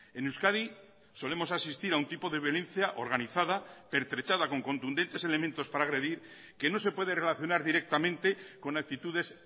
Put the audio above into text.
en euskadi solemos asistir a un tipo de violencia organizada pertrechada con contundentes elementos para agredir que no se puede relacionar directamente con actitudes